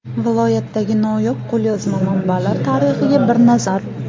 Viloyatdagi noyob qo‘lyozma manbalar tarixiga bir nazar.